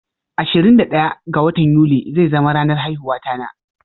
Ashirin da daya ga watan yuli zai zama ranar haihuwata na.